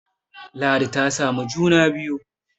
ladi ta samu juna biyu